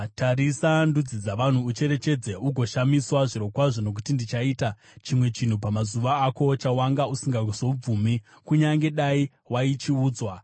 “Tarisa ndudzi dzavanhu, ucherechedze, ugoshamiswa zvirokwazvo. Nokuti ndichaita chimwe chinhu pamazuva ako chawanga usingazobvumi, kunyange dai waichiudzwa.